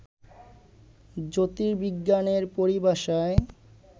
জ্যোতির্বিজ্ঞানের পরিভাষায়